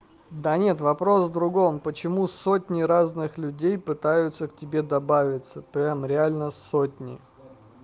да нет вопрос в другом почему сотни разных людей пытаются к тебе добавиться прямо реально сотни